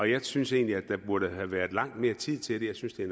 jeg synes egentlig at der burde have været langt mere tid til det jeg synes at